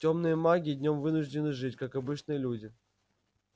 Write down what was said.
тёмные маги днём вынуждены жить как обычные люди